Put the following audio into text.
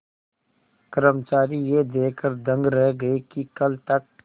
कर्मचारी यह देखकर दंग रह गए कि कल तक